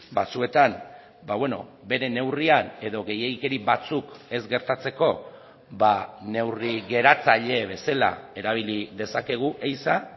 batzuetan bere neurrian edo gehiegikeri batzuk ez gertatzeko neurri geratzaile bezala erabili dezakegu ehiza